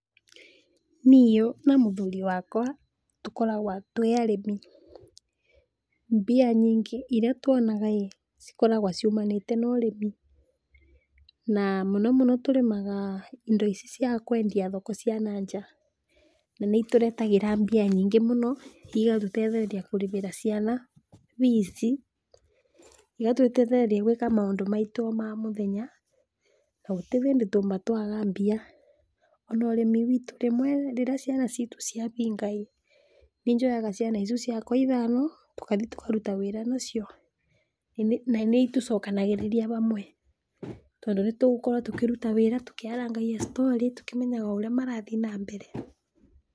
Niũ na mũthuri wakwa, tũkoragwa twĩ arĩmi, mbia nyingĩ iria twonaga ĩ cikoragwa ciũmanĩte na ũrĩmi, na mũno mũno tũrĩmaga indo ici cia kũendia thoko cia na nja, na nĩitũretagĩra mbia njingĩ mũno, igatũtethereria kũrĩhĩra ciana bici, igatũtethereria gũĩka maũndũ maitũ ma mũthenya na gũtĩhĩndĩ tũma twaga mbia, ona ũrĩmiti witũ rĩmwe rĩrĩa ciana citũ ciabinga ĩ,nĩnjoyaga ciana icu ciakwa ithaano, tũkathi tũkaruta wĩra nacio na nĩitũcokanagĩrĩria hamwe tondũ nĩtũgũkorwo tũkĩruta wĩra tũkĩarangagia storĩ, tũkĩmenyaga ũrĩa marathi na mbere.